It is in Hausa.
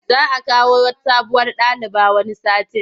Za a kawo sabuwar daliba wani satin.